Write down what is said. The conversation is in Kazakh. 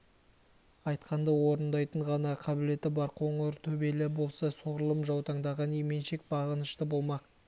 айтқанды орындайтындай ғана қабілеті бар қоңыр төбелі болса солғұрлым жаутаңдаған именшек бағынышты болмақ